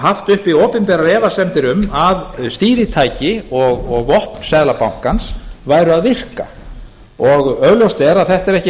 haft uppi opinberar efasemdir um að stýritæki og vopn seðlabankans væru að virka augljóst er að þetta er ekki